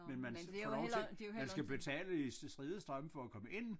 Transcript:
Men man får lov til man skal betale i stride strømme for at komme ind